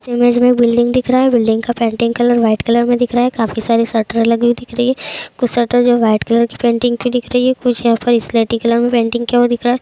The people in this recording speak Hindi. इमेज में बिल्डिंग दिख रहा है बिल्डिंग का पेंटिंग कलर व्हाइट कलर मे दिख रहा है। काफ़ी सारी शटर लग रही दिख रही है कुछ शटर जो व्हाइट कलर कि पेंटिंग की दिख रही है कुछ यहाँ पर स्लेटी कलर मे पेंटिंग किया हुआ दिख रहा है।